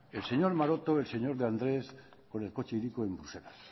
el señor maroto el señor de andrés con el coche hiriko en bruselas